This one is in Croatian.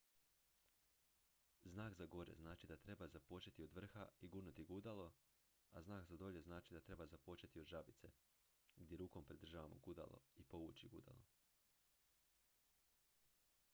znak za gore znači da treba započeti od vrha i gurnuti gudalo a znak za dolje znači da treba započeti od žabice gdje rukom pridržavamo gudalo i povući gudalo